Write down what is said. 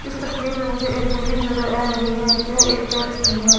इस तस्वीर में मुझे एक बिल्डिंग नजर आ रही है जो एक चर्च की है।